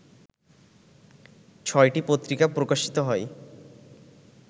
ছয়টি পত্রিকা প্রকাশিত হয়